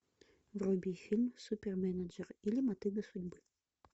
вруби фильм суперменеджер или мотыга судьбы